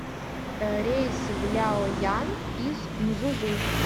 рейс в ляоян из мзузу